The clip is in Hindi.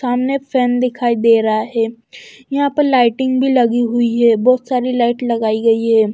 सामने फैन दिखाई दे रहा है यहां पर लाइटिंग भी लगी हुई है बहुत सारी लाइट लगाई गई है।